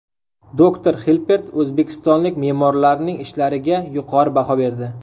Doktor Xilpert o‘zbekistonlik me’morlarning ishlariga yuqori baho berdi.